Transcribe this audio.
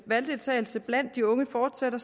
valgdeltagelse blandt de unge fortsætter